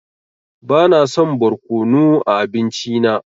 Bana son barkonu a abinci na.